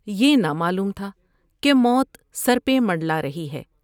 یہ نہ معلوم تھا کہ موت سر پہ منڈلا رہی ہے ۔